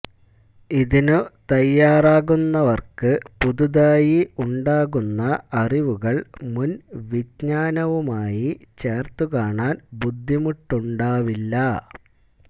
ഇതിനു തയാറാകുന്നവർക്ക് പുതുതായി ഉണ്ടാകുന്ന അറിവുകൾ മുൻവിജ്ഞാനവുമായി ചേർത്തുകാണാൻ ബുദ്ധിമുട്ടുണ്ടാവില്ല